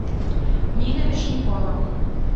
нина вешнякова